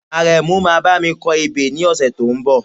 Àrẹ̀mú máa bá mi kọ ebè ní ọ̀sẹ̀ tó ń bọ̀